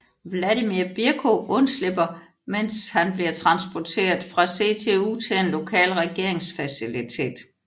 Vladimir Bierko undslipper mens han bliver transporteret fra CTU til en lokal regeringsfacilitet